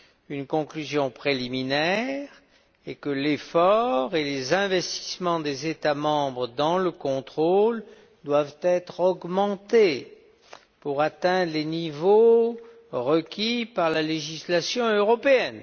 Une des conclusions préliminaires est que les efforts et les investissements des États membres dans le contrôle doivent être augmentés pour atteindre les niveaux requis par la législation européenne.